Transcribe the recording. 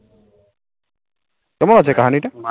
কেমন আছে কাহানি টা ?